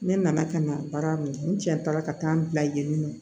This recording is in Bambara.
Ne nana ka na baara min kɛ n cɛ taara ka taa n bila yen nɔ